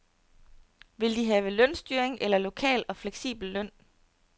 Vil de have lønstyring eller en lokal og fleksibel løn?